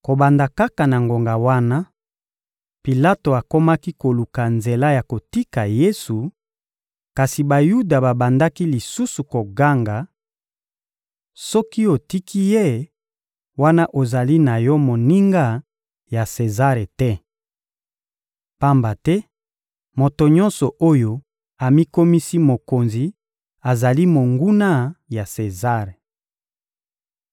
Kobanda kaka na ngonga wana, Pilato akomaki koluka nzela ya kotika Yesu; kasi Bayuda babandaki lisusu koganga: — Soki otiki ye, wana ozali na yo moninga ya Sezare te! Pamba te moto nyonso oyo amikomisi mokonzi azali monguna ya Sezare.